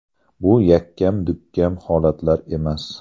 Bu yakkam-dukkam holatlar emas.